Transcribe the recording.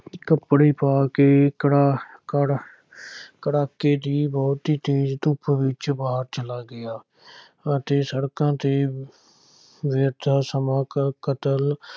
ਕੱਪੜੇ ਪਾ ਕੇ ਕੜਾਹ ਕੜ ਕੜਾਕੇ ਦੀ ਬਹੁਤੀ ਤੇਜ਼ ਧੁੱਪ ਵਿੱਚ ਬਾਹਰ ਚਲਾ ਗਿਆ ਅਤੇ ਸੜਕਾਂ ਤੇ ਸਮਾਂ ਕ ਕਤਲ